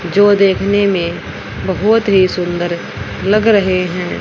जो देखने में बहुत ही सुंदर लग रहे हैं।